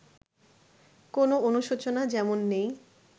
কোনো অনুশোচনা যেমন নেই